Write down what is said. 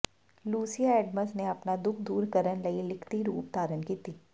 Lucia Adams ਨੇ ਆਪਣਾ ਦੁੱਖ ਦੂਰ ਕਰਨ ਲਈ ਲਿਖਤੀ ਰੂਪ ਧਾਰਨ ਕੀਤੀ